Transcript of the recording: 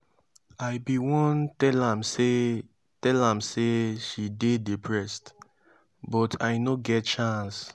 i bin wan tell am say tell am say she dey depressed but i no get chance.